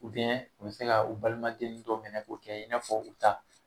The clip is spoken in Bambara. u bɛ se ka u balimaden dɔ minɛ k'o kɛ i n'a fɔ u ta